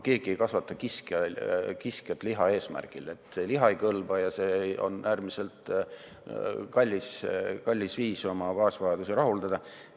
Keegi ei kasvata kiskjat liha eesmärgil, see liha ei kõlba ja see on äärmiselt kallis viis oma baasvajadusi rahuldada.